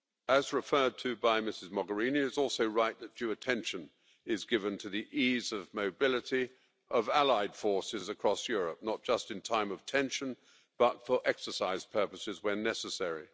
As referred to by Ms Mogherini, it is also right that due attention be given to the ease of mobility of allied forces across Europe, not just in times of tension but also for exercise purposes when necessary.